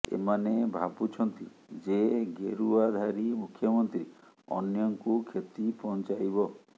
ଏମାନେ ଭାବୁଛନ୍ତି ଯେ ଗେରୁଆଧାରୀ ମୁଖ୍ୟମନ୍ତ୍ରୀ ଅନ୍ୟଙ୍କୁ କ୍ଷତି ପହଞ୍ଚାଇବ